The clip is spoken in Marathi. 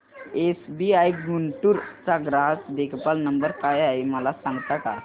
एसबीआय गुंटूर चा ग्राहक देखभाल नंबर काय आहे मला सांगता का